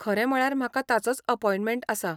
खरें म्हळ्यार म्हाका ताचोच अपॉयंटमँट आसा.